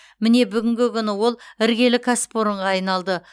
міне бүгінгі күні ол іргелі кәсіпорынға айналды